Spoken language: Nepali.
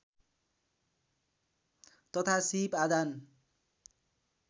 तथा सीप आदान